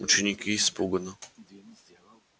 ученики испуганно